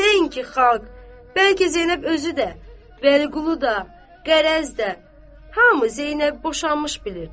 Nəinki xalq, bəlkə Zeynəb özü də, Vəliqulu da, Qərəz də, hamı Zeynəbi boşanmış bilirdi.